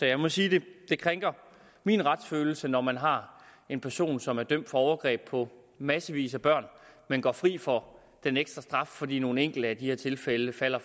jeg må sige at det krænker min retsfølelse når man har en person som er dømt for overgreb på massevis af børn men går fri for den ekstra straf fordi nogle enkelte af de her tilfælde falder